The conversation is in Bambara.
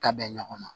Ta bɛn ɲɔgɔn ma